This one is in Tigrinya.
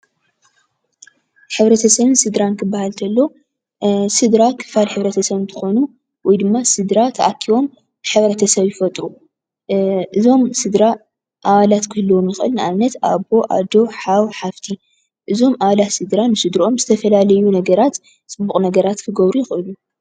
ሕብረተሰብን ስድራን ክበሃል ከሎ ስድራ ክፋል ሕብረተሰብ እንትኾኑ ወይ ድማ ስድራ ተኣኪቦም ሕብረተሰብ ይፈጥሩ ።እዞም ስድራ ኣባላት ክህልዎም ይኽእል ።ንኣብነት ኣቦ፣ ኣዶ፣ ሓዉ ፣ሓፍቲ ፣እዞም ኣባላት ስድራ ንስድርኦም ዝተፈላለዩ ነገራት ፅቡቅ ነገራት ክገብሩ ይኽእሉ።